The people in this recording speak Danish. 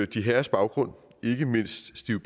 de herrers baggrund ikke mindst stephen